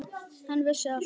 Hann vissi allt.